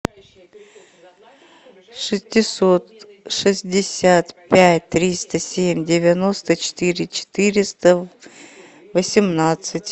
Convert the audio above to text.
шестьсот шестьдесят пять триста семь девяносто четыре четыреста восемнадцать